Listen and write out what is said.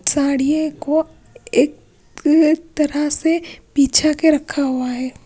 साड़ी को एक तरह से बिछा के रखा हुआ है।